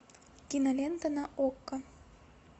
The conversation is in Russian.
кинолента на окко